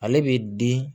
Ale bɛ di